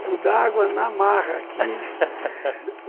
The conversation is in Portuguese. Um copo d'água na marra aqui